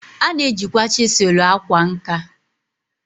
A na-ejikwa chisulu akwa nka.